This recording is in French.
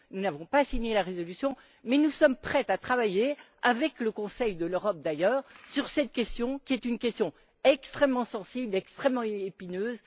Nous n'avons pas signé la résolution mais nous sommes prêts à travailler, avec le Conseil de l'Europe d'ailleurs, sur cette question, qui est une question extrêmement sensible et extrêmement épineuse.